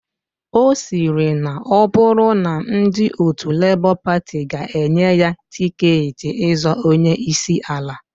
Osiri na oburu na ndi otu Labour Party ga enye ya tiketi izọọ onye isi ala.